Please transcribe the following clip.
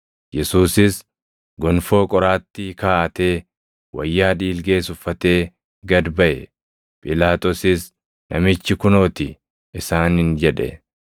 Yesuusis gonfoo qoraattii kaaʼatee, wayyaa dhiilgees uffatee gad baʼe; Phiilaaxoosis, “Namichi kunoo ti!” isaaniin jedhe.